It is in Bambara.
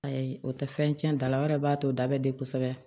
Ayi o tɛ fɛn cɛn da la o yɛrɛ b'a to o da bɛ de kosɛbɛ